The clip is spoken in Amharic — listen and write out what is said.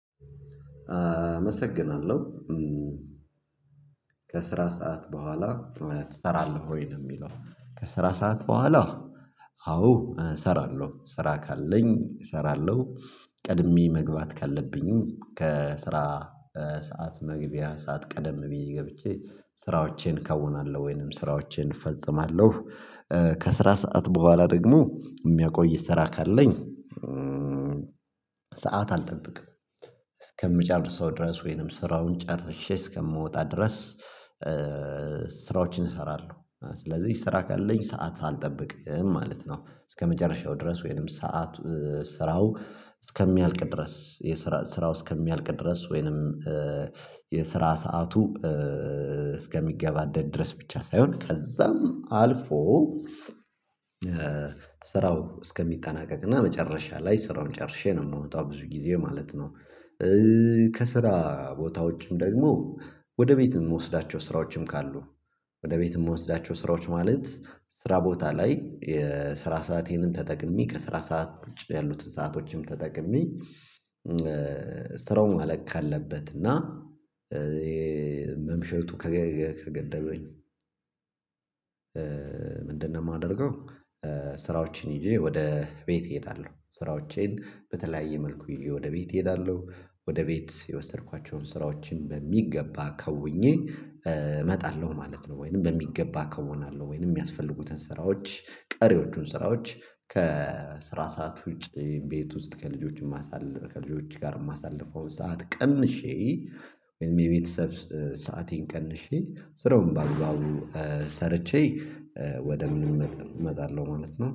አመሰግናለሁ። ከስራ ሰዓት በኋላ ትሰራልህ ወይ ነው የሚለው ከስራ ሰዓት በኋላ አዎ እሰራለሁ። ስራ ካለኝ እሰራለሁ። ቀድሜ መግባት ካለብኝ ከስራ ሰዓት መግቢያ ሰዓት ቀደም ብዬ ገብቼ ስራዎቼን ከውናለሁ ወይንም ስራዎቼን እፈጽማለሁ ከስራ ሰዓት በኋላ ደግሞ የሚያቆይ ስራ ካለኝ ሰዓት አልጠብቅም እስከምጨርሰው ድረስ ወይንም ስራውን ጨርሼ እስከምወጣ ድረስ ስራዎችን እሰራለሁ። ስለዚህ ስራ ካለኝ ሰዓት አልጠብቅም ማለት ነው። እስከመጨረሻው ድረስ ወይንም ሰዓት ስራው እስከሚያልቅ ድረስ የስራ ስራው እስከሚያልቅ ድረስ ወይንም የስራ ሰዓቱ እስከሚገባደድ ድረስ ብቻ ሳይሆን ከዛም አልፎ ስራው እስከሚጠናቀቅና መጨረሻ ላይ ስራውን ጨርሼ ነው የማመጣው ብዙ ጊዜ ማለት ነው። ከስራ ቦታዎችም ደግሞ ወደ ቤት የምወስዳቸው ስራዎችም ካሉ ወደ ቤት የምወስዳቸው ስራዎች ማለት ስራ ቦታ ላይ የስራ ሰአቴንም ተጠቅሜ ከስራ ሰዓት ውጭ ያሉትን ሰአቶችም ተጠቅሜ ስራው መለቅ ከአለበት እና መምሸቱ ከገደበኝ ምንድነው የማደርገው ስራዎችን ይዤ ወደ ቤት እሄዳለሁ። ስራዎቼን በተለያየ መልኩ ይዤ ወደ ቤት እሄዳለሁ ወደ ቤት የወሰድኳቸውን ስራዎችን በሚገባ ከውኜ እመጣለሁ ማለት ነው ወይንም በሚገባ ከሆነ አለው ወይንም የሚያስፈልጉትን ስራዎች ቀሪዎቹን ስራዎች ከስራ ሰዓት ውጪ ቤት ውስጥ ከልጆችም ከልጆች ጋር የማሳልፈውን ሰዓት ቀንሼ ወይም የቤተሰብ ሰአቴን ቀንሼ ስራውን በአግባቡ ሰርቼ ወደ ምን እመጣለሁ ማለት ነው።